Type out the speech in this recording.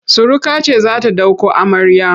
Suruka ce za ta ɗauko amarya.